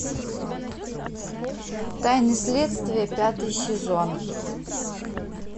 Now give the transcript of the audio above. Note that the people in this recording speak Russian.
тайны следствия пятый сезон